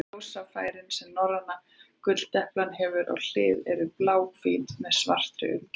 Ljósfærin sem norræna gulldeplan hefur á hliðum eru bláhvít með svartri umgjörð.